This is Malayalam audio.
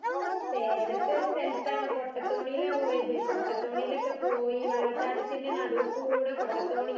സേലത്തൊരി സ്ഥലത്താണ് കൊട്ട തോണിലാണ് പോയത് കൊട്ടത്തോണീലൊക്കെ പോയി വെള്ളച്ചാട്ടത്തി നടൂക്കൂടെ കൊട്ടത്തോണീൽ